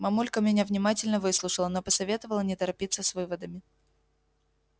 мамулька меня внимательно выслушала но посоветовала не торопиться с выводами